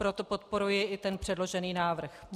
Proto podporuji i ten předložený návrh.